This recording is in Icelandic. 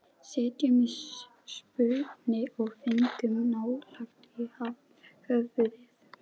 Sitjum í súpunni og fengum naglann í höfuðið